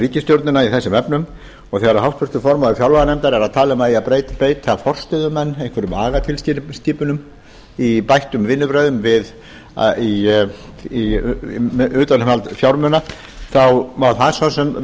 ríkisstjórnina í þessum efnum þegar háttvirtur formaður fjárlaganefndar er að tala um að það eigi að beita forstöðumenn einhverjum agatilskipunum í bættum vinnubrögðum við utanumhald fjármuna má það svo sem vel